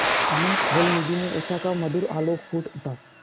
अनंत जलनिधि में उषा का मधुर आलोक फूट उठा